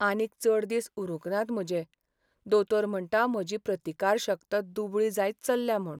आनीक चड दीस उरूंक नात म्हजे. दोतोर म्हणटा म्हजी प्रतिकारशक्त दुबळी जायत चल्ल्या म्हूण.